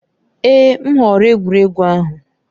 Èè! M họọrọ egwuregwu ahụ.